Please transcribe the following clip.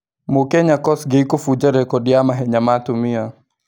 Mũkenya Kosgei kũbunja rekodi ya mahenya ma atumia